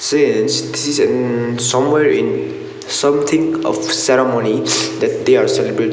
this is um somewhere in something of ceremony that they are celebrat--